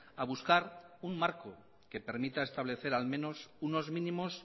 a buscar un marco que permita establecer al menos unos mínimos